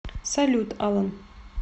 салют алан